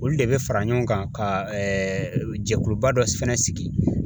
Olu de bɛ fara ɲɔgɔn kan ka jɛkuluba dɔ fɛnɛ sigi